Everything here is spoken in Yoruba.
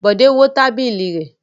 Bọ̀dé wó tábìlì rẹ̀.